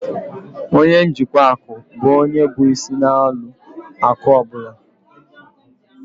Ọnye njikwa akụ bụ ónyé bụ ịsị na ụlọ akụ ọbula